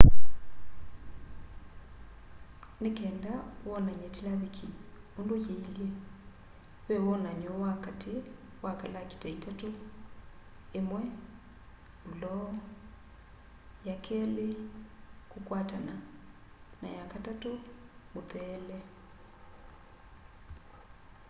ni kenda wonany'e tilaviki undu yiilye ve wonany'o wa kati wa kalakita itatu: 1 fuloo 2 kukwatana na 3 mutheele